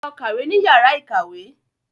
Lọ kàwé ní yàrá ìkàwé.